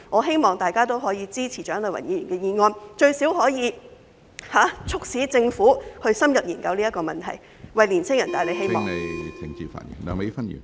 希望大家支持蔣麗芸議員的議案，該議案最少可促使政府深入研究有關問題，為年青人帶來希望。